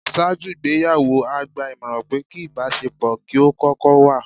Ṣáájú ìgbéyàwó, a gba ìmọ̀ràn pé kí ìbáṣe pọ̀ kí ó kókó wà.